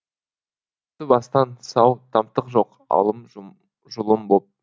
бастан сау тамтық жоқ алым жұлым боп